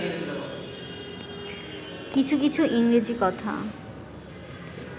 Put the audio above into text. কিছু কিছু ইংরজী কথা